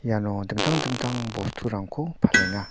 iano dingtang dingtang bosturangko palenga.